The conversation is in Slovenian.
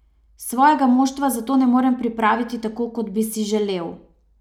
Svojega moštva zato ne morem pripraviti tako, kot bi si želel.